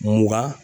Mugan